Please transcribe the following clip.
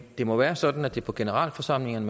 det må være sådan at det er på generalforsamlingen